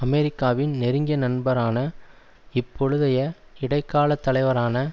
அமெரிக்காவின் நெருங்கிய நண்பரான இப்பொழுதைய இடை கால தலைவரான